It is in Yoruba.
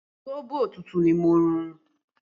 Sóbò tútù ni mo mú